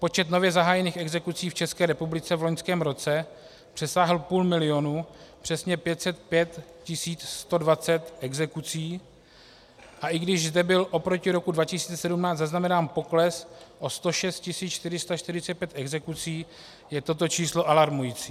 Počet nově zahájených exekucí v České republice v loňském roce přesáhl půl milionu, přesně 505 120 exekucí, a i když zde byl oproti roku 2017 zaznamenán pokles o 106 445 exekucí, je toto číslo alarmující.